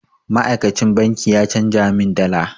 Ma'aikacin banki ya canja min dala.